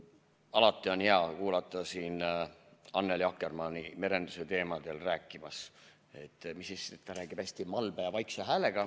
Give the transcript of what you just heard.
Alati on hea kuulata Annely Akkermanni merenduse teemadel rääkimas, ta räägib hästi malbe ja vaikse häälega.